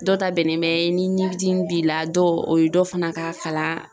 Dɔ ta bɛnnen bɛ ni ɲidimi b'i la dɔw o ye dɔ fana ka kalan